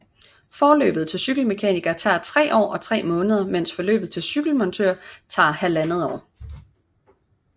Forløbet til cykelmekaniker tager 3 år og 3 måneder mens forløbet til cykelmontør tager 1½ år